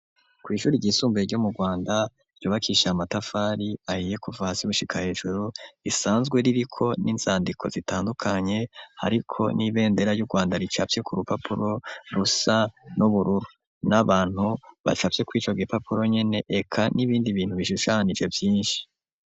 Kw'ishuri ryisumbuye ryo mu Rwanda, ryubakishije amatafari ahiye kuva hasi gushika hejuru, isanzwe ririko n'inzandiko zitandukanye, hariko n'ibendera ryu Rwanda ricafye ku rupapuro rusa n'ubururu, n'abantu bacafye kwico gipapuro nyene, eka n'ibindi bintu bishushanije vyinshi.